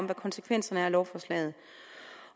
hvad konsekvenserne af lovforslaget